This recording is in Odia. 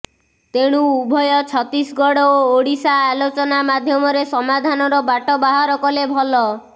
ତେଣୁ ଉଭୟ ଛତିଶଗଡ଼ ଓ ଓଡ଼ିଶା ଆଲୋଚନା ମାଧ୍ୟମରେ ସମାଧାନର ବାଟ ବାହାର କଲେ ଭଲ